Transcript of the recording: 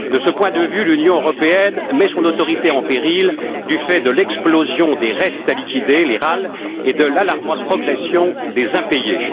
De ce point de vue, l'Union européenne met son autorité en péril du fait de l'explosion des restes à liquider et de l'alarmante progression des impayés.